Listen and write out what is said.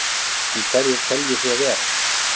En hverjir telji svo vera?